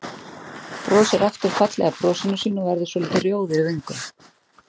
Brosir aftur fallega brosinu sínu og verður svolítið rjóð í vöngum.